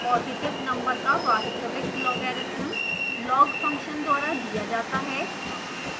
positive number का वास्तविक logarithm log function द्वारा दिया जाता है